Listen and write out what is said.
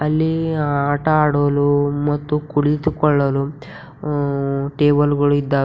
ಇಲ್ಲಿ ಆಟ ಆಡಲು ಮತ್ತು ಕುಳಿತುಕೊಳ್ಳಲು ಆ ಟೇಬಲ್ ಗಳು ಇದ್ದಾವೆ.